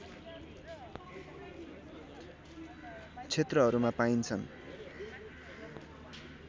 क्षेत्रहरूमा पाइन्छन्